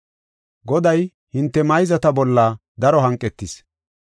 “Goday hinte mayzata bolla daro hanqetis.